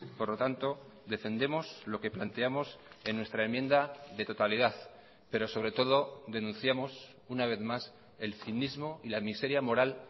por lo tanto defendemos lo que planteamos en nuestra enmienda de totalidad pero sobre todo denunciamos una vez más el cinismo y la miseria moral